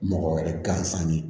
Mɔgɔ wɛrɛ gansan ye